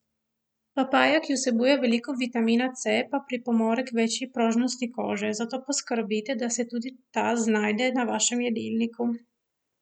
Papaja, ki vsebuje veliko vitamina C, pa pripomore k večji prožnosti kože, zato poskrbite, da se tudi ta znajde na vašem jedilniku.